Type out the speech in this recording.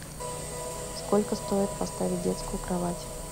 сколько стоит поставить детскую кровать